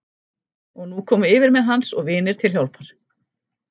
Og nú komu yfirmenn hans og vinir til hjálpar.